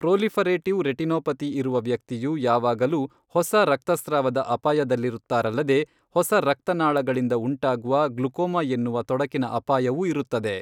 Proliferative retinopathy ಇರುವ ವ್ಯಕ್ತಿಯು ಯಾವಾಗಲೂ ಹೊಸ ರಕ್ತಸ್ರಾವದ ಅಪಾಯದಲ್ಲಿರುತ್ತಾರಲ್ಲದೆ, ಹೊಸ ರಕ್ತನಾಳಗಳಿಂದ ಉಂಟಾಗುವ ಗ್ಲುಕೋಮಾ ಎನ್ನುವ ತೊಡಕಿನ ಅಪಾಯವೂ ಇರುತ್ತದೆ.